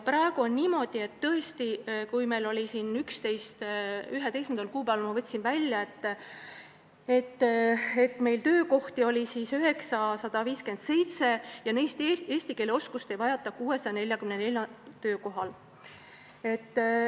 Praegu on niimoodi – ma 11. kuupäeval võtsin välja andmed –, et vabu töökohti on 957 ja eesti keele oskust ei vajata neist 644 töökohal.